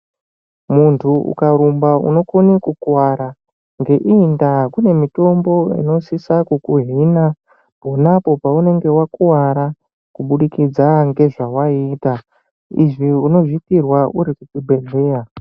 Muntu ukarumba unokona kukuwara ngeiyi nda kune mitombo inosisa kuhina vanhu vakuwara waiita izvi unozviita uri kuzvibhedhlera.